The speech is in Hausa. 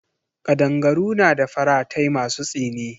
Kadangaru na da faratai masu tsini.